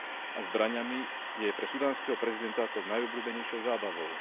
a zbraňami je pre sudánskeho prezidenta tou najobľúbenejšou zábavou.